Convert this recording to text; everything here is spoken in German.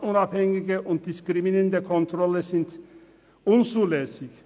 «Verdachtsunabhängige und diskriminierende Kontrollen sind unzulässig.